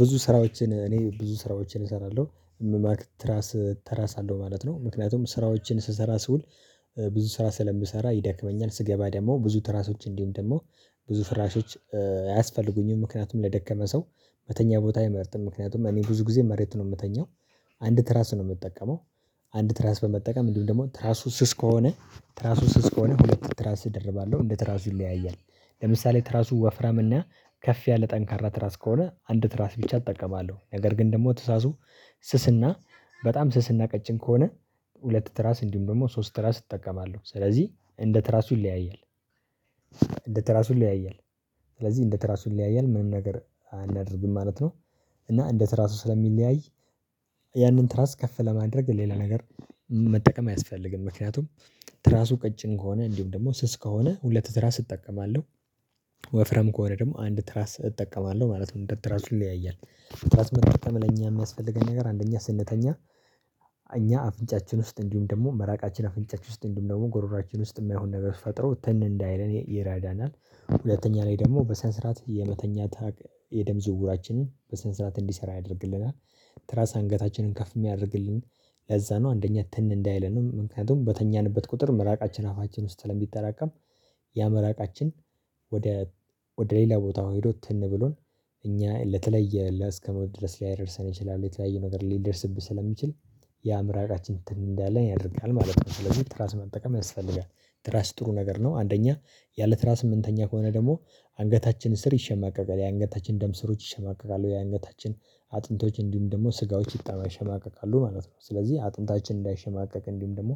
ብዙ ስራዎችን እኔ ብዙ ስራዎችን እሰራለሁ። ትራስ ትራስ አለው ማለት ነው። ምክንያቱም ስራዎችን ስሰራ ስውል ብዙ ስራ ስለምሰራ ይደክመኛል። ስገባ ደሞ ብዙ ትራሶች እንዲሁም ደግሞ ብዙ ፍራሾች አያስፈልጉኝም። ምክንያቱም ለደከመ ሰው መተኛ ቦታ አይመርጥም። ምክንያቱም እኔ ብዙ ጊዜ መሬት ነው እምተኛው። አንድ ትራስ ነው እምጠቀመው። አንድ ትራስ በመጠቀም እንዲሁ ደግሞ ትራሱ ስስ ከሆነ ትራሱ ስስ ከሆነ ሁለት ትራስ እደርባለሁ እንደ ትራሱ ይለያያል። ለምሳሌ ትራሱ ወፍራም እና ከፍ ያለ ጠንካራ ትራስ ከሆነ አንዲት ትራስ ብቻ እጠቀማለሁ። ነገር ግን ደግሞ ትዛዙ ስስና በጣም ስስና ቀጭን ከሆነ ሁለት ትራስ እንዲሁም ደሞ ሶስት ትራስ እጠቀማለሁ ስለዚህ እንደ ትራሱ ይለያያል። እንደ ትራሱ ይለያያል ስለዚህ እንደ ትራሱ ይለያያል ምንም ነገር አናደርግም ማለት ነው። እና እንደ ትራቱ ስለሚለያይ ያንን ትራት ከፍ ለማድረግ ሌላ ነገር መጠቀም አያስፈልግም። ምክንያቱም ትራሱ ቀጭን ከሆነ እንዲሁም ደሞ ስስ ከሆነ ሁለት ትራስ እጠቀማለሁ። ወፍራም ከሆነ ደግሞ አንድ ትራስ እጠቀማለሁ ማለት ነው እንደ ትራሱ ይለያያል። ያምለኛ የሚያስፈልገን ነገር አንደኛ ስንተኛ እኛ አፍንጫችን ውስጥ እንዲሁም ደሞ ምራቃችን አፍንጫችን ውስጥ እንዲሁም ደግሞ ጎሮሮአችን ውስጥ እማይሆን ነገር ፈጥሮ ትን እንዳይለን ይረዳናል። ሁለተኛ ላይ ደግሞ በስነ ስርዓት የመተኛት የደም ዝውውራችንን በስነ ስርዓት እንዲሰራ ያደርግልናል። ትራስ አንገታችንን ከፍ እሚያደርግልን ለዛ ነው አንደኛ ትን እንዳይለን ነው። ምክንያቱም በተኛንበት ቁጥር ምራቃችን አፋችን ውስጥ ስለሚጠራቀም ያምራቃችን ወደ ወደ ሌላ ቦታ ሄዶ ትን ብሎን እኛ ለተለየ እስከ ሞት ድረስ ሊያደርሰን ይችላል የተለያየ ነገር ሊደርስብን ስለሚችል ያ ምራቃችን ትን እንዲለን ያደርጋል ማለት ነው። ስለዚህ ትራስ መጠቀም ያስፈልጋል ትራስ ጥሩ ነገር ነው። አንደኛ ያለ ትራስ እምንተኛ ከሆነ ደግሞ አንገታችን ስር ይሸማቀቃል የአንገታችን ደም ስሮች ይሸማቀቃሉ የአንገታችን አጥንቶች እንዲሁም ደግሞ ስጋዎች ይሸማቀቃሉ ማለት ነው። ስለዚህ አጥንታችን እንዳይሸማቀቅ እንዲሁም ደግሞ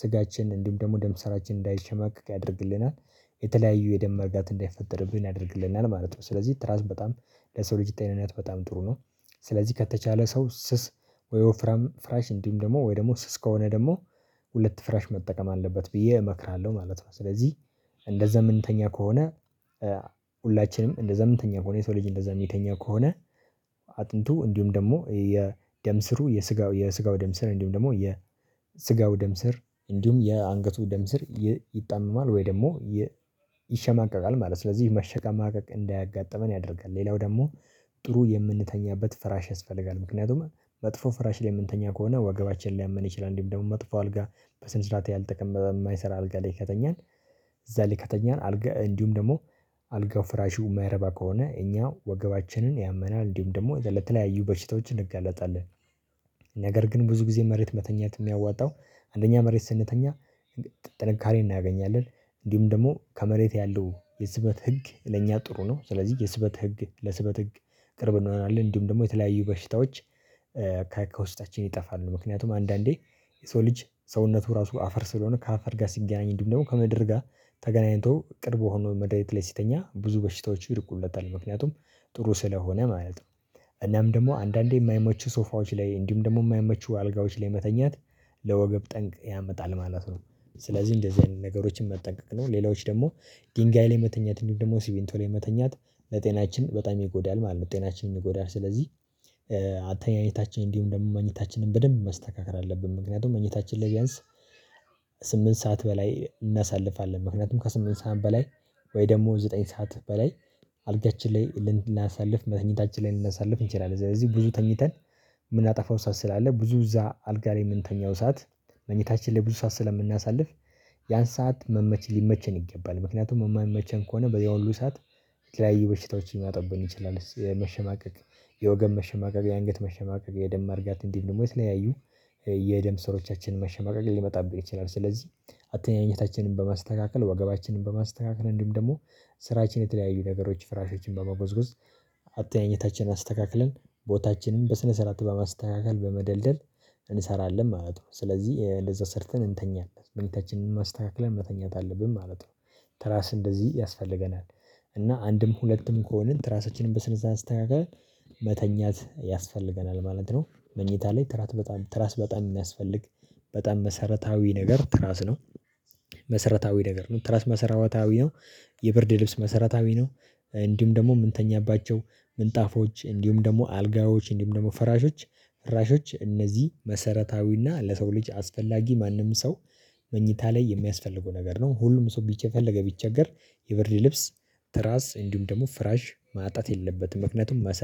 ስጋችን እንዲሁም ደሞ ደም ስራችን እንዳይሸማቀቅ ያደርግልናል የተለያዩ የደም መርጋት እንዳይፈጠርብን ያደርግልናል ማለት ነው። ስለዚህ ትራስ በጣም ለሰው ልጅ ጤናናት በጣም ጥሩ ነው። ስለዚህ ከተቻለ ሰው ስስ ወይ ወፍራም ፍራሽ እንዲም ደሞ ወይ ደሞ ስስ ከሆነ ደሞ ሁለት ፍራሽ መጠቀም አለበት ብዬ እመክራለሁ ማለት ነው። ስለዚህ እንደዛ እምንተኛ ከሆነ ሁላችንም እንደዛ እምንተኛ ከሆነ የሰው ልጅ እንደዛ እሚተኛ ከሆነ አጥንቱ እንዲሁም ደሞ የደም ስሩ የስጋው የስጋው ደም ስር እንዲሁም ደግሞ የስጋው ደም ስር እንዲሁም የአንገቱ ደም ስር ይጣመማል ወይ ደሞ ይሸማቀቃል ማለት ነው። ስለዚህ መሸማቀቅ እንዳያጋጥመን ያደርጋል ሌላው ደሞ ጥሩ የምንተኛበት ፍራሽ ያስፈልጋል ምክንያቱም መጥፎ ፍራሽ ላይ እምንተኛ ከሆነ ወገባችንን ሊያመን ይችላል። እንዲሁም ደግሞ መጥፎ አልጋ በስነ ስርዓት ያልተቀመጠ እማይሰራ አልጋ ላይ ከተኛን እዛ ላይ ከተኛን አልጋ እንዲሁም ደሞ አልጋው ፍራሹ እማይረባ ከሆነ እኛ ወገባችንን ያመናል እንዲሁም ደሞ ለተለያዩ በሽታዎች እንጋለጣለን። ነገር ግን ብዙ ጊዜ መሬት መተኛት እሚያዋጣው አንደኛ መሬት ስንተኛ ጥንካሬን እናገኛለን። እንዲሁም ደሞ ከመሬት ያለው የስበት ህግ ለእኛ ጥሩ ነው ስለዚህ የስበት ህግ ለስበት ህግ ቅርብ እንሆናለን እንዲሁም ደሞ የተለያዩ በሽታዎች። ከውስጣችን ይጠፋሉ ምክንያቱም አንዳንዴ የሰው ልጅ ሰውነቱ ራሱ አፈር ስለሆነ ከአፈር ጋር ሲገናኝ እንዲሁም ደሞ ከምድር ጋር ተገናኝቶ ቅርብ ሆኖ መሬት ላይ ሲተኛ ብዙ በሽታዎች ይርቁለታል። ምክንያቱም ጥሩ ስለሆነ ማለት ነው። እናም ደሞ አንዳንዴ እማይመቹ ሶፋዎች ላይ እንዲሁ ደግሞ እማይመቹ አልጋዎች ላይ መተኛት ለወገብ ጠንቅ ያመጣል ማለት ነው። ስለዚህ እንደዚህ አይነት ነገሮችን መጠንቀቅ ነው። ሌላዎች ደግሞ ድንጋይ ላይ መተኛት ደግሞ ሲቪንቶ ላይ መተኛት ለጤናችን በጣም ይጎዳል ማለት ነው። ጤናችንን ይጎዳል ስለዚህ አተኛኘታችን እንዲሁም ደሞ መኝታችንን በደንብ ማስተካከል አለብን ምክንያቱም መኝታችን ቢያንስ ስምንት ሰዓት በላይ እናሳልፋለን ምክንያቱም ከስምንት ሰዓት በላይ ወይ ደግሞ ዘጠኝ ሰዓት በላይ አልጋችን ላይ ልናሳልፍ መተኛታችን ላይ ልንነሳልፍ እንችላለን። ስለዚህ ብዙ ተኝተን እምናጠፋው ሰዓት ስላለ ብዙ እዛ አልጋ ላይ እምንተኛው ሰዓት መኝታችን ላይ ብዙ ሰዓት ስላልምናሳልፍ ያን ሰዓት ሊመቸን ይገባል ምክንያቱም እማይመቸን ከሆነ ያ ሁሉ ሰዓት የተለያዩ በሽታዎችን ሊመጡብን ይችላል። የመሸማቀቅ የወገብ መሸማቀቅ የአንገት መሸማቀቅ የደም ማርጋት እንዲሁም ደግሞ የተለያዩ የደም ስሮቻችን መሸማቀቅ ሊመጣብን ይችላል። ስለዚህ አተኛኘታችንን በማስተካከል ወገባችንን በማስተካከል እንዲሁም ደግሞ ስራችን የተለያዩ ነገሮች ፍራሾችን በመጎዝጎዝ አተኛኘታችንን አስተካክለን ቦታችንን በስነ ስርዓት በማስተካከል በመደልደል እንሰራለን ማለት ነው። ስለዚህ እንደዛ ሰርተን እንተኛለን መኝታችንን አስተካከለን መተኛት አለብን ማለት ነው። ትራስ እንደዚህ ያስፈልገናል። እና አንድም ሁለትም ከሆንን ትራሳችንን በስነ ስርዓት አስተካክለን መተኛት ያስፈልገናል ማለት ነው። መኝታ ላይ ትራስ በጣም ትራስ በጣም እሚያስፈልግ በጣም መሰረታዊ ነገር ትራስ ነው። መሰረታዊ ነገር ነው ትራስ መሰረታዊ ነው። የብርድ ልብስ መሰረታዊ ነው። እንዲሁም ደግሞ እምንተኛባቸው ምንጣፎች እንዲሁም ደግሞ አልጋዎች እንዲሁም ደግሞ ፍራሾች ፍራሾች እነዚህ መሰረታዊና ለሰው ልጅ አስፈላጊ ማንም ሰው መኝታ ላይ የሚያስፈልገው ነገር ነው። ሁሉም ሰው የፈለገ ቢቸገር የብርድ ልብስ ተራስ እንዲሁም ደሞ ፍራጅ ማጣት የለበትም ምክንያቱም